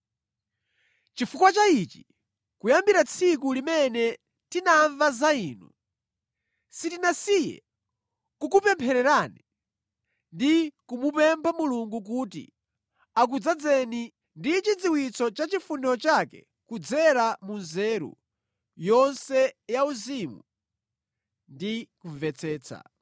Chifukwa cha ichi, kuyambira tsiku limene tinamva za inu, sitinasiye kukupemphererani ndi kumupempha Mulungu kuti akudzazeni ndi chidziwitso cha chifuniro chake kudzera mu nzeru yonse yauzimu ndi kumvetsetsa.